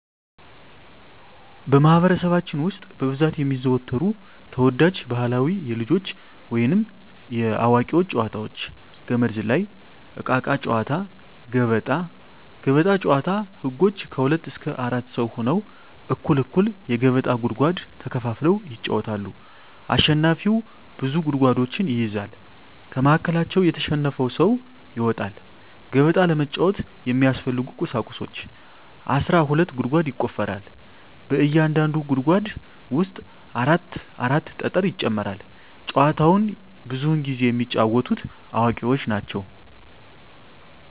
በማህበረሰባችን ውስጥ በብዛት የሚዘወተሩ ተወዳጅ ባህላዊ የልጆች ወይንም የአዋቂዎች ጨዋታዎች - ገመድ ዝላይ፣ እቃቃ ጨዎታ፣ ገበጣ። ገበጣ ጨዎታ ህጎች ከሁለት እስከ አራት ሰው ሁነው እኩል እኩል የገበጣ ጉድጓድ ተከፋፍለው ይጫወታሉ አሸናፊው ብዙ ጉድጓዶችን ይይዛል ከመሀከላቸው የተሸነፈው ሰው ይወጣል። ገበጣ ለመጫወት የሚያስፈልጊ ቁሳቁሶች አስራ ሁለት ጉድጓድ ይቆፈራል በእያንዳንዱ ጉድጓድ ውስጥ አራት አራት ጠጠር ይጨመራል። ጨዎቸውን ብዙውን ጊዜ የሚጫወቱት አዋቂዎች ናቸው።